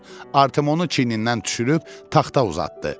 Artimonu çiynindən düşürüb taxta uzatdı.